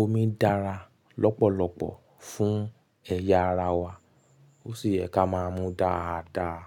omi dára lọ́pọ̀lọpọ̀ fún ẹ̀yà ara wa. Ó sì yẹ ká máa mu dáadáa.